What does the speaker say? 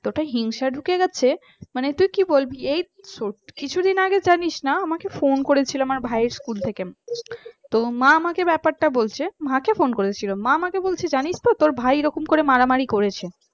এতটাই হিংসা ঢুকে গেছে মানে তুই কি বলবি এই ছোট কিছুদিন আগে জানিস না আমাকে ফোন করেছিল আমার ভাইয়ের school থেকে তোর মা আমাকে ব্যাপারটা বলছে জানিস তো তোর ভাই এরকম করে মারামারি করেছে